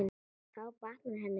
Þá batnar henni fyrr.